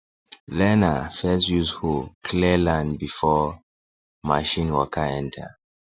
learner first use hoe clear land before machine waka enter